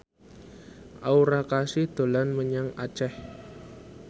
Aura Kasih dolan menyang Aceh